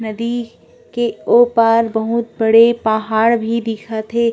नदी के ओ पार बहुत बड़े पहाड़ भी दिखा थे।